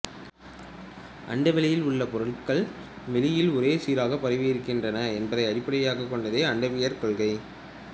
அண்ட வெளியில் உள்ள பொருள்கள் வெளியில் ஒரே சீராகப் பரவியிருக்கின்றன என்பதை அடிப்படையாகக் கொண்டதே அண்டவியற் கொள்கை